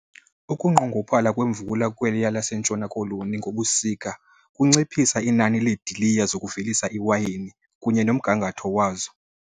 Ukunqongophala kwemvula kweliya laseNtshona Koloni ngobusika kunciphisa inani lweediliya zokuvelisa iwayini kunye nomgangatho wazo.